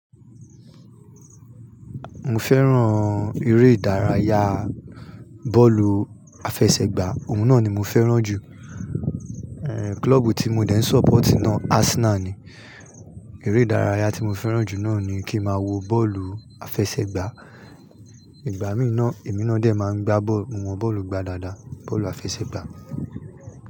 Mo fẹ́ràn eré ìdárayá bọ́ọ̀lù àfẹsẹ̀gbá, òun náà ni mo fẹ́ràn jù. Eh, klọ́ọ̀bù tí mo dẹ́ ń support náà Arsenal ni. Eré ìdárayá tí mo fẹ́ràn jù náà ni kí ń máa wo bọ́ọ̀lù àfẹsẹ̀gbá. Ìgbà mí náà, èmi náà dẹ̀ máa ń gbá bọ́ọ̀lù, mo mọ bọ́ọ̀lù gbá dáadáa, bọ́ọ̀lù àfẹsẹ̀gbá.